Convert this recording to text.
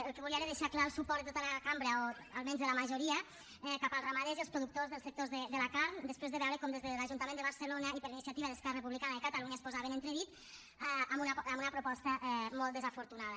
el que volia era deixar clar el suport de tota la cambra o almenys de la majoria cap als ramaders i els productors dels sectors de la carn després de veure com des de l’ajuntament de barcelona i per iniciativa d’esquerra republicana de catalunya es posava en entredit amb una proposta molt desafortunada